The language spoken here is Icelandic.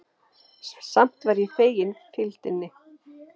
Samt var ég fegin fylgdinni.